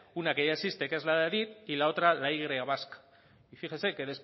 una que ya existe que es la de adif y la otra la y vasca y fíjese que